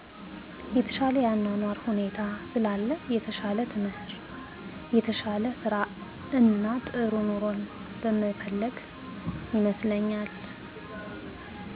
የተሻለ የአኗኗር ሁኔታ ስላለ የተሻለ ትምህር የተሻለ ስራእና ጥሩ ኑሮን በመፈለግ ይመስለኛል